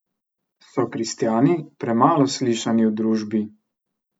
So kristjani premalo slišani v družbi?